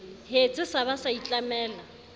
hetse sa ba sa itlamela